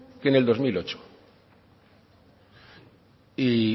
que en el dos mil ocho y